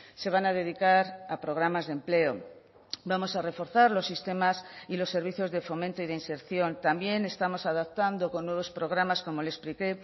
se van a dedicar a programas de empleo vamos a reforzar los sistemas y los servicios de fomento y de inserción también estamos adaptando con nuevos programas como le expliqué